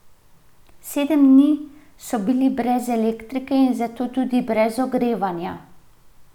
Sedem dni so bili brez elektrike in zato tudi brez ogrevanja.